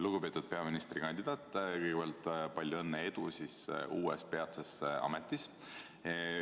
Lugupeetud peaministrikandidaat, kõigepealt palju õnne ja edu uues peatses ametis!